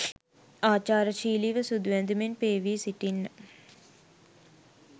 ආචාරශීලිව සුදු ඇඳුමෙන් පේවී සිටින්න.